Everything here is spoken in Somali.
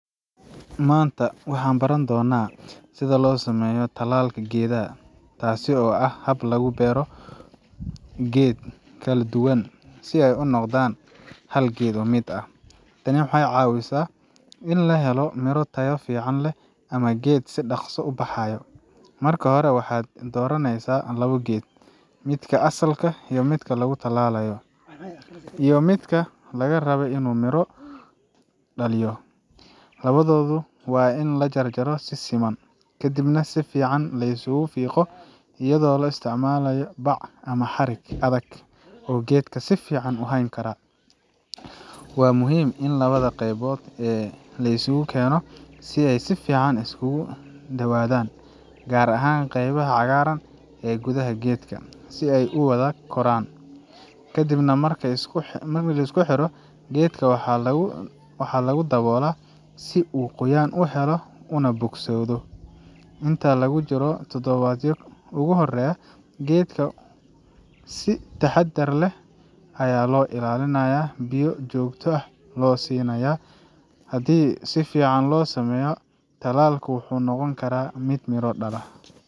Maanta waxaan baran doonnaa sida loo sameeyo tallaalka geedaha, taas oo ah hab lagu beero labo geed kala duwan si ay u noqdaan hal geed mid ah. Tani waxay caawisaa in la helo miro tayo fiican leh ama geed si dhaqso ah u baxayo. Marka hore, waxaad dooranaysaa labo geed: midka asalka ah oo lagu tallaalayo, iyo midka laga rabay inuu miro dhaliyo. Labadooda waa in la jarjaro si siman, kadibna si fiican laysugu fiiqo iyadoo la isticmaalayo bac ama xarig adag oo geedka si fiican u hayn kara. Waa muhiim in labada qeybood ee la isugu keeno ay si fiican iskugu dhawaadaan, gaar ahaan qaybaha cagaaran ee gudaha geedka, si ay u wada koraan. Ka dib marka la isku xidho, geedka waxaa lagu daboolaa si uu qoyaan u helo una bogsodo. Inta lagu jiro toddobaadyada ugu horeeya, geedka si taxadar leh ayaa loo ilaalinayaa, biyona si joogto ah ayaa loo siiyaa. Haddii si fiican loo sameeyo, tallaalku wuxuu noqon karaa mid miro dhala.